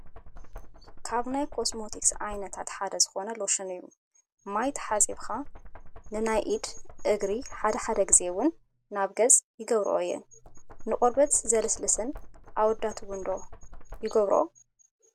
ካብ ናይ ኮስሞቲክስ ዓይነታት ሓደ ዝኾነ ሎሽን እዩ፡፡ ማይ ተሓፂብካ ንናይ ኢድ፣ እግሪ ሓደ ሓደ ጊዜ ውን ናብ ገፅ ይገብርኦ እየን፡፡ ንቆርበት ዘለስልስን ኣወዳት ውን ዶ ይገብርዎ?